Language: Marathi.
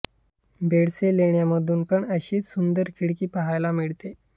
बेडसे लेण्यांमध्ये पण अशीच सुंदर खिड़की पहायला मिळते